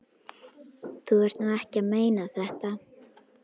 Þú ert nú ekki að meina þetta!